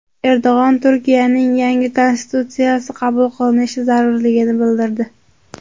Erdo‘g‘on Turkiyaning yangi konstitutsiyasi qabul qilinishi zarurligini bildirdi.